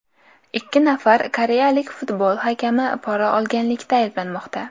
Ikki nafar koreyalik futbol hakami pora olganlikda ayblanmoqda.